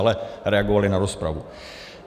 Ale reagovali na rozpravu.